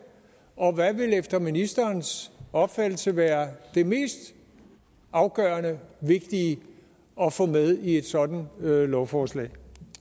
og hvad vil efter ministerens opfattelse være det mest afgørende vigtige at få med i et sådant lovforslag